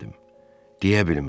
Deyə bilmədim.